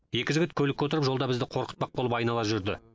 екі жігіт көлікке отырып жолда бізді қорқытпақ болып айнала жүрді